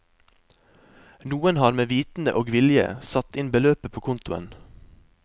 Noen har med vitende og vilje satt inn beløpet på kontoen.